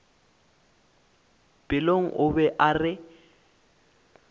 pelong o be a re